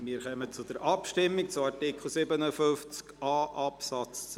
Wir kommen zur Abstimmung über Artikel 57a (neu) Absatz 2.